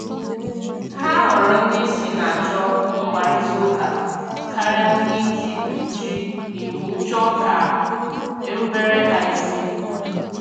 Ha họrọ ndị isi na-achọ mkparịtaụka karịa ndị ji ji iwu chọọ ka erubere ha isi